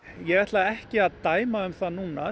ég ætla ekki að dæma um það núna